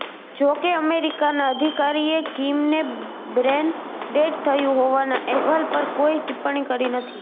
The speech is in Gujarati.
જો કે અમેરિકાના અધિકારીએ કિમને બ્રેન ડેડ થયું હોવાના એહવાલ પર કોઈ ટિપ્પણી કરી નથી